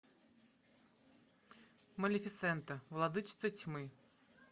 малифисента владычица тьмы